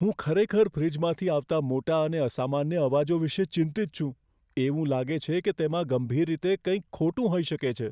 હું ખરેખર ફ્રિજમાંથી આવતા મોટા અને અસામાન્ય અવાજો વિશે ચિંતિત છું, એવું લાગે છે કે તેમાં ગંભીર રીતે કંઈક ખોટું હોઈ શકે છે.